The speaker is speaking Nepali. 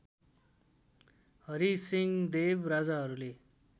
हरिसिंहदेव राजाहरूले